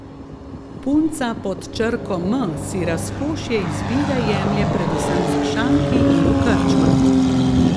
Punca pod črko M si razkošje izbire jemlje predvsem za šanki in v krčmah.